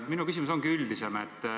Minu küsimus ongi üldisem.